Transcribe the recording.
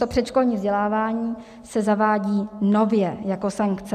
To předškolní vzdělávání se zavádí nově jako sankce.